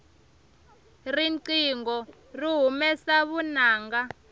riqingho ri humesa vunanga